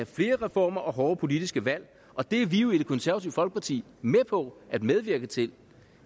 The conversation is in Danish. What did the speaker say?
flere reformer og hårde politiske valg og det er vi jo i det konservative folkeparti med på at medvirke til